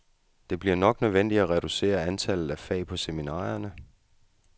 Det bliver nok nødvendigt at reducere antallet af fag på seminarierne.